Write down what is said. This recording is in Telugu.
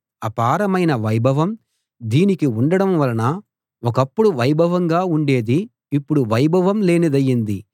అపారమైన వైభవం దీనికి ఉండడం వలన ఒకప్పుడు వైభవంగా ఉండేది ఇప్పుడు వైభవం లేనిదయింది